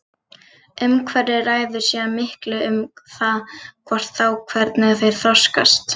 Umhverfið ræður síðan miklu um það hvort og þá hvernig þeir þroskast.